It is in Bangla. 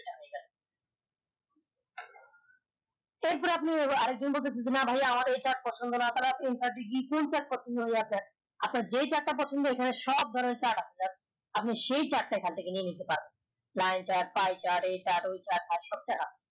এর পরে আপনি এই টা পছন্দ না আপনার যে টা পছন্দ সব ধরনের chart আছে আপনি সেই chart টা এখান থেকে নিয়ে নিতে পারবেন chart chart এই chart ওই chart